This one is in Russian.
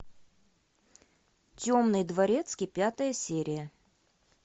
темный дворецкий пятая серия